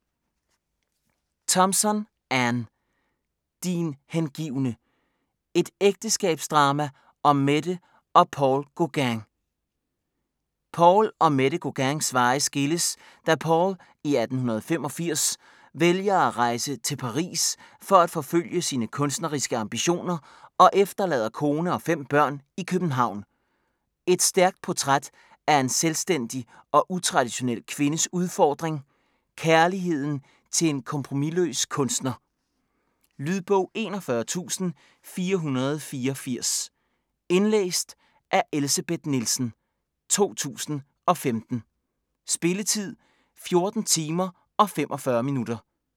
Thompson, Anne: Din hengivne: et ægteskabsdrama om Mette og Paul Gauguin Paul og Mette Gauguins veje skilles da Paul i 1885 vælger at rejse til Paris for at forfølge sine kunstneriske ambitioner og efterlader kone og fem børn i København. Et stærkt portræt af en selvstændig og utraditionel kvindes udfordring; kærligheden til en kompromisløs kunstner. Lydbog 41484 Indlæst af Elsebeth Nielsen, 2015. Spilletid: 14 timer, 45 minutter.